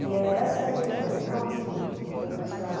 E é esta região, não aqui Pinheiros, um pouco mais para lá...